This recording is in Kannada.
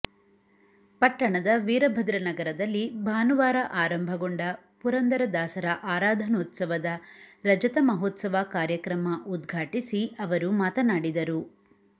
ಪಟ್ಟಣದ ವೀರಭದ್ರನಗರದಲ್ಲಿ ಭಾನುವಾರ ಆರಂಭಗೊಂಡ ಪುರಂದರದಾಸರ ಆರಾಧನೋತ್ಸವದ ರಜತ ಮಹೋತ್ಸವ ಕಾರ್ಯಕ್ರಮ ಉದ್ಘಾಟಿಸಿ ಅವರು ಮಾತನಾಡಿದರು